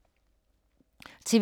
TV 2